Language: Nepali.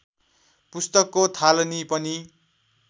पुस्तकको थालनी पनि